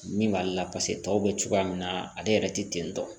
Min b'ale la paseke tɔw bɛ cogoya min na ale yɛrɛ tɛ ten tɔ